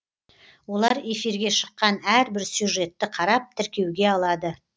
олар эфирге шыққан әрбір сюжетті қарап тіркеуге алады